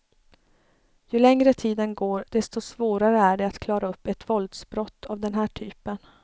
Ju längre tiden går, desto svårare är det att klara upp ett våldsbrott av den här typen.